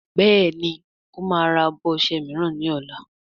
Béèni o má rà abọ ọṣẹ míràn ní ol.